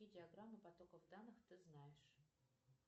какие диаграммы потоков данных ты знаешь